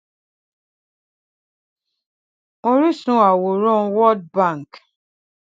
oríṣun àwòrán world bank